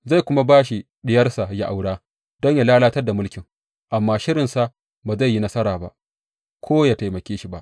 Zai kuma ba shi diyarsa yă aura don yă lalatar da mulkin, amma shirinsa ba zai yi nasara ba ko yă taimake shi ba.